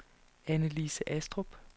Annalise Astrup